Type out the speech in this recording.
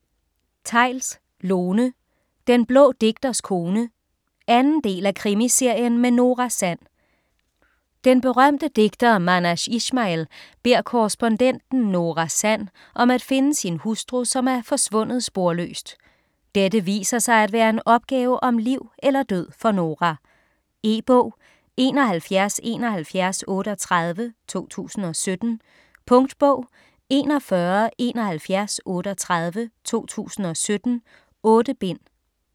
Theils, Lone: Den blå digters kone 2. del af Krimiserien med Nora Sand. Den berømte digter Manash Ishmail beder korrespondenten Nora Sand om at finde sin hustru som er forsvundet sporløst. Dette viser sig at være en opgave om liv eller død for Nora. E-bog 717138 2017. Punktbog 417138 2017. 8 bind.